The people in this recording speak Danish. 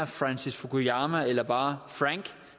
francis fukuyama eller bare frank